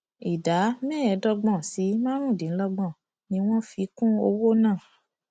ìdá mẹẹẹdọgbọn sí márùndínlọgbọn ni wọn fi kún owó náà